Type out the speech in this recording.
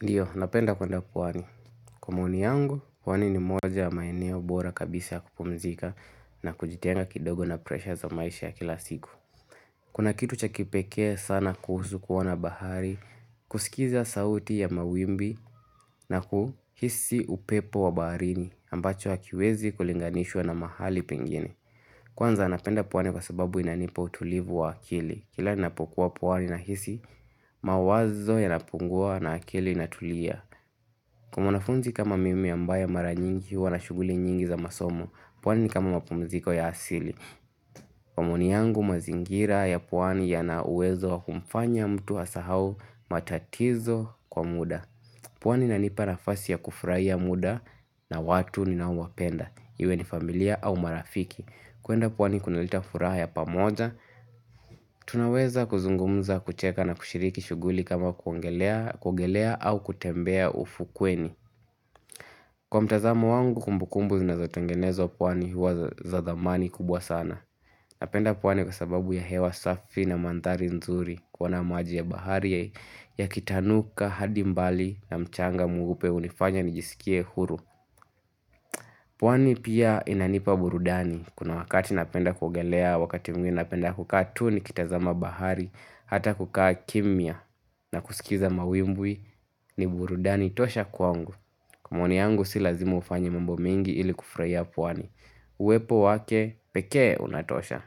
Ndiyo, napenda kuenda pwani. Kwa maoni yangu, pwani ni moja ya maeneo bora kabisa ya kupumzika na kujitenga kidogo na presha za maisha ya kila siku. Kuna kitu cha kipekee sana kuhusu kuona bahari, kusikiza sauti ya mawimbi na kuhisi upepo wa baharini ambacho hakiwezi kulinganishwa na mahali pengene. Kwanza napenda puwani kwa sababu inanipa utulivu wa akili. Kila ninapokuwa puwani nahisi, mawazo yanapungua na akili inatulia. Kwa mwanafunzi kama mimi ambaye mara nyingi huwa na shuguli nyingi za masomo. Pwani ni kama mapumziko ya asili. Kwa maoni yangu mazingira ya pwani yana uwezo wa kumfanya mtu asahau matatizo kwa muda. Pwani inanipa nafasi ya kufuraia muda na watu ninaowapenda. Iwe ni familia au marafiki. Kuenda pwani kunaleta furaha ya pamoja. Tunaweza kuzungumza kucheka na kushiriki shuguli kama kuogelea au kutembea ufukweni. Kwa mtazamo wangu kumbukumbu zinazotengenezwa pwani huwa za thamani kubwa sana. Napenda pwani kwa sababu ya hewa safi na manthari nzuri kuona maji ya bahari yakitanuka, hadi mbali na mchanga mweupe hunifanya nijisikie huru. Pwani pia inanipa burudani, kuna wakati napenda kuogelea, wakati mwingine napenda kukaa tu nikitazama bahari, hata kukaa kimya, na kusikiza mawimbwi ni burudani tosha kwangu, kwa maoni yangu si lazima ufanye mambo mingi ili kufuraia pwani, uwepo wake pekee unatosha,